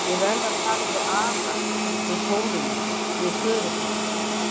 Ég verð að tala við Ara, við Þórunni, við föður minn.